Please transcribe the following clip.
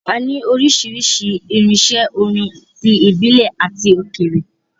A ní oríṣiríṣi irinṣẹ́ orin - tí ìbílẹ̀ àti òkèèrè.